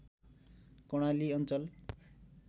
कर्णाली अञ्चल